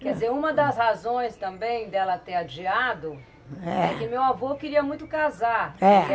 Quer dizer, uma das razões também dela ter adiado é que meu avô queria muito casar. Ah.